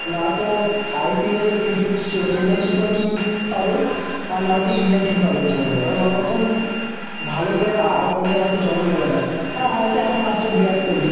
নাতো IPL cricket Chennai Super Kings পাবে আর না হয়তো ইন্ডিয়ান টিম পাবে জীবনে। কারণ ওনার মতন ভালো প্লেয়ার আর কোনদিন হয়তো জন্ম নেবে না। হ্যাঁ হয়ত এখন আসছে বিরাট কোহলি।